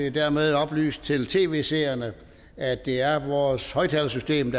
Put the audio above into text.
er hermed oplyst til tv seerne at det er vores højtalersystem